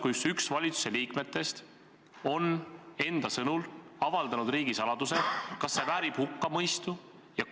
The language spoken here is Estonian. Kui üks valitsuse liikmetest on enda sõnul avaldanud riigisaladuse, kas see väärib hukkamõistu?